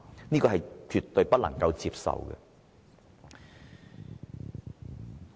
這是絕對不能接受的。